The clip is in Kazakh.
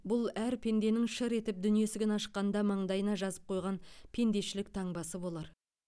бұл әр пенденің шыр етіп дүние есігін ашқанда маңдайына жазып қойған пендешілік таңбасы болар